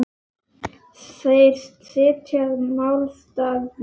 Þeir styðja málstað minn.